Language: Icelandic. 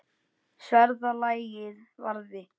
Sverða lagið varði.